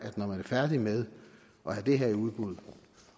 færdig med at have det her i udbud